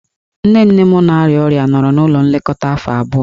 Nne nne m na-arịa ọrịa nọrọ n'ụlọ nlekọta afọ abụọ.